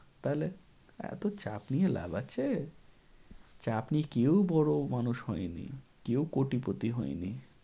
তাহলে? এত চাপ নিয়ে লাভ আছে?